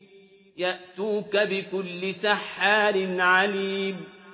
يَأْتُوكَ بِكُلِّ سَحَّارٍ عَلِيمٍ